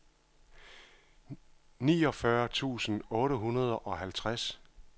niogfyrre tusind otte hundrede og halvtreds